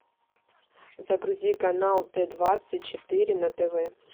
загрузи канал т двадцать четыре на тв